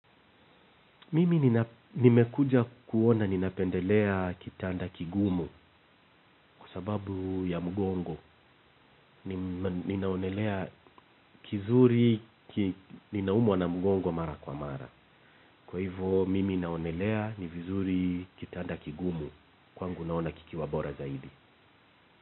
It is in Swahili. Mimi nimekuja kuona ninapendelea kitanda kigumu kwa sababu ya mgongo. Ninaonelea kizuri, ninaumwa na mgongo mara kwa mara. Kwa hivyo, mimi naonelea ni vizuri kitanda kigumu kwangu naona kikiwa bora zaidi.